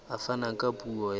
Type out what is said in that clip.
a fana ka puo ya